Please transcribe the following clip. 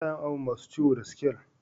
Ana yin awon masun ciwo da scal.